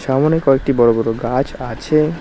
সামোনে কয়েকটি বড়ো বড়ো গাছ আছে।